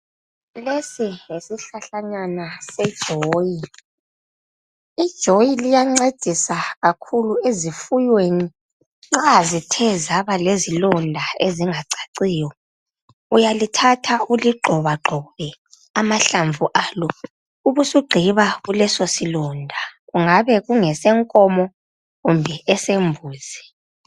lesi yisihlahlanyana sejoyi, ijoyi liancedisa kakhulu ezifunyweni mazithe zaba lezilonda ezingacaciyo uyalithatha uligxobagxo ubesuligxiba kuleso silonda kungabe kungese nkomo kumbe esembuzi